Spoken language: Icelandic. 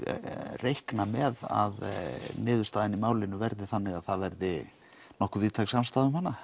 reikna með að niðustaðan í málinu verði þannig að það verði nokkuð víðtæk samstaða um hana